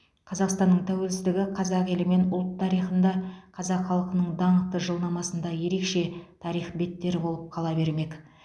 қазақстанның тәуелсіздігі қазақ елі мен ұлт тарихында қазақ халқының даңқты жылнамасында ерекше тарих беттері болып қала бермек